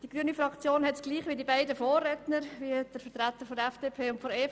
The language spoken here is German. Die grüne Fraktion schätzt die Situation gleich ein wie die beiden Vorredner von FDP und EVP: